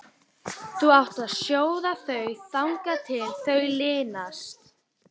Þú átt að sjóða þau þangað til þau linast.